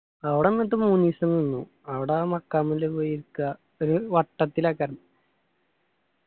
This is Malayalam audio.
അവർ എന്നിട്ട് മൂന്ന് ഇയിസം നിന്ന് അവട മഖാമില്ല് പോയി ഇരിക്ക വട്ടത്തിലാ